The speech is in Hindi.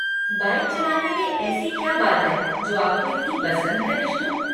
बाइक चलाने में ऐसी क्या बात है जो आपको इतनी पसंद है, बिश्नू?